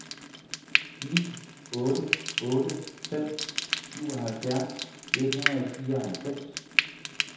ni otte otte fem syvoghalvfjerds et hundrede og fireoghalvfems